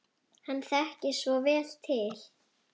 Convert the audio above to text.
Hann þekkir svo vel til.